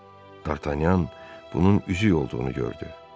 Dartanyan bunun üzük olduğunu gördü.